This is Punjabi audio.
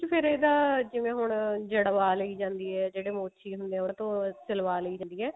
ਫ਼ੇਰ ਇਹਦਾ ਜਿਵੇਂ ਹੁਣ ਜੜਵਾ ਲਈ ਜਾਂਦੀ ਹੈ ਜਿਹੜੇ ਮੋਚੀ ਹੁੰਦੇ ਆ ਉਹਤੋਂ ਸਿਲਵਾ ਲਈ ਜਾਂਦੀ ਹੈ